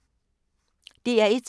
DR1